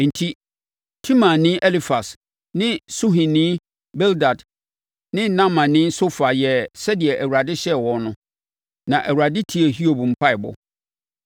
Enti, Temanni Elifas ne Suhini Bildad ne Naamani Sofar yɛɛ sɛdeɛ Awurade hyɛɛ wɔn no, na Awurade tiee Hiob mpaeɛbɔ.